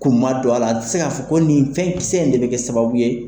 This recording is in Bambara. Kun ma don a la ,te se ka fɔ ko nin fɛnkisɛ in de be kɛ sababu ye